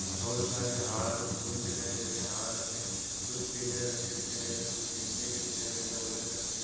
बहुत सारे हार फूल दिखाई दे रहे हार हमें कुछ पीले रंग के दिखाई दे रहे कुछ गेंदे के दिखाई दे रहे हैं ऑरेंज रंग के--